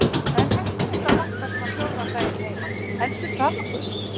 Það er ekkert að marka svona fjórða daginn heima heldurðu það nokkuð?